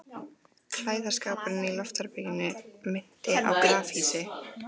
Klæðaskápurinn í loftherberginu minnti á grafhýsi.